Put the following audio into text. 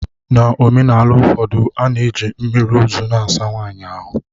N'omenala ụfọdụ, a na-eji mmiri ozu na-asa nwanyị ahụ.